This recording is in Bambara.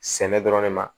Sɛnɛ dɔrɔn de ma